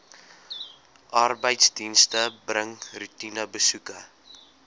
arbeidsdienste bring roetinebesoeke